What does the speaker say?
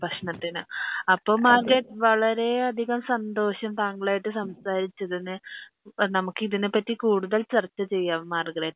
ഭക്ഷണത്തിനു അപ്പൊ മാർഗരറ്റ് വളരെ അതികം സന്തോഷം താങ്കളയിട്ട് സംസാരിച്ചതിന് നമക്ക് ഇതിനെപറ്റി കൂടുതൽ ചർച്ച ചെയ്യാം മാർഗരറ്റ്